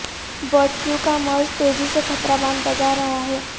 bird flu کا مرض تیزی سے خطرہ بنتا جار ہا ہے